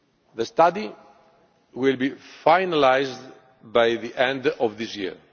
The study will be finalised by the end of this year.